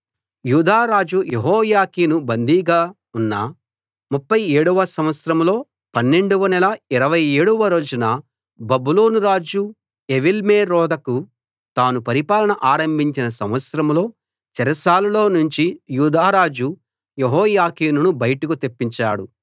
యూదారాజు యెహోయాకీను బందీగా ఉన్న 37 వ సంవత్సరంలో 12 వ నెల 27 వ రోజున బబులోను రాజు ఎవీల్మెరోదకు తాను పరిపాలన ఆరంభించిన సంవత్సరంలో చెరసాలలో నుంచి యూదా రాజు యెహోయాకీనును బయటకు తెప్పించాడు